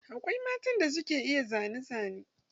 Akwai matan da suka iya zane zane.